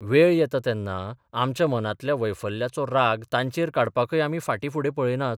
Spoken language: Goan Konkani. वेळ येता तेन्ना आमच्या मनांतल्या वैफल्याचो राग तांचेर काडपाकय आमी फार्टी फुडें पळयनात.